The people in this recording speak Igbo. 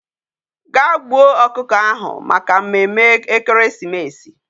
Ga gbuo okuko ahu Maka mmemme ekeresimesi